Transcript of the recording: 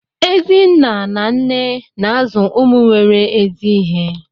Ezi nna na nne na-azụ ụmụ nwere ezi ihe